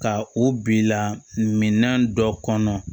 Ka o bila minan dɔ kɔnɔ